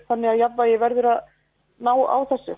þannig að jafnvægi verður að ná á